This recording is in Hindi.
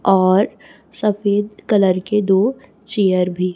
और सफेद कलर के दो चेयर भी--